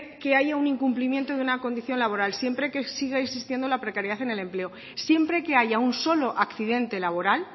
que haya un incumplimiento de una condición laboral siempre que siga existiendo la precariedad en el empleo siempre que haya un solo accidente laboral